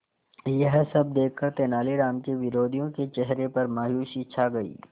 यह सब देखकर तेनालीराम के विरोधियों के चेहरे पर मायूसी छा गई